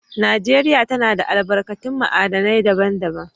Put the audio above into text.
Najeriya tana da albarkatun ma'adinai daban-daban.